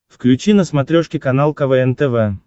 включи на смотрешке канал квн тв